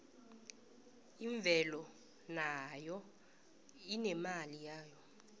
imvelo nayo inemali yayo